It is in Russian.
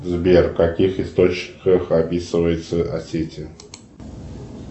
сбер в каких источниках описывается осетия